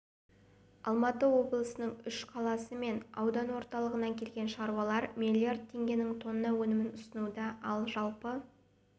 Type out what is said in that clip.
алматы облысының үш қаласы мен аудан орталығынан келген шаруалар миллиард теңгенің тонна өнімін ұсынуда ал жалпы